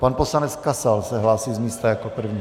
Pan poslanec Kasal se hlásí z místa jako první.